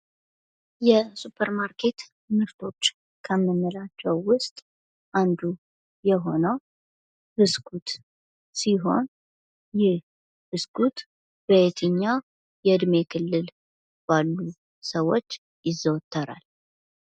የሱፐርማርኬት ምርቶችከምንላቸው ውስጥ አንዱ የሆነው ብስኩት ሲሆን ይህ ብስኩት የየትኛው የእድሜ ክልል ባሉ ሰዎች ይዘወተራል?